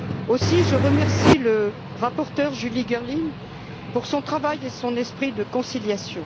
Aussi je remercie la rapporteure, Julie Girling, pour son travail et son esprit de conciliation.